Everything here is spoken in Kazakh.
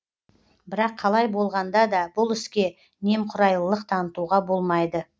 бірақ қалай болғанда да бұл іске немқұрайлылық танытуға болмайды